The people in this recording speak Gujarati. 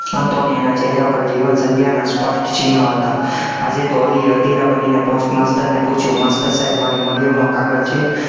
ને એના ચહેરા પર જીવન સંધ્યાના સ્પષ્ટ ચિન્હ હતા, આજે તો અલીએ અધીરા બનીને post master ને પૂછ્યું, master સાહેબ મારી મરિયમ નો કાગળ છે?